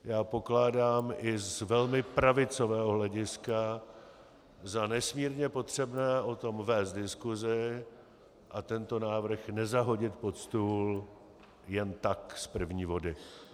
Já pokládám i z velmi pravicového hlediska za nesmírně potřebné o tom vést diskusi a tento návrh nezahodit pod stůl jen tak z první vody.